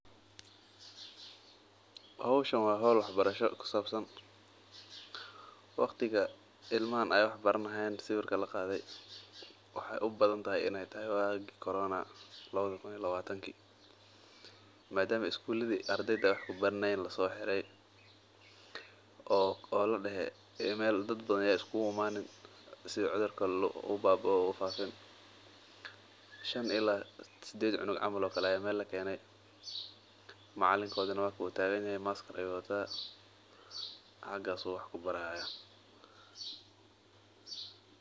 Howshan waa howl wax barasho, waqtiga waa waagi corona, madama iskulada lasoo xire oo ladehe meel dad badan ameey iskuugu imanin, macalinkooda wuu tagan yahay xagaas ayuu wax kubari haaya.